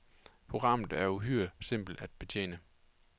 Programmet er uhyre simpelt at betjene.